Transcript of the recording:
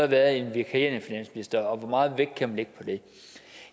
været en vikarierende finansminister og hvor meget vægt kan man lægge på det